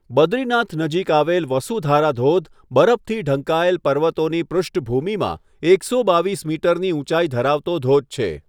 બદ્રીનાથ નજીક આવેલ વસુધારા ધોધ બરફથી ઢંકાયેલ પર્વતોની પૃષ્ઠભૂમિમાં એકસો બાવીસ મીટરની ઊંચાઈ ધરાવતો ધોધ છે.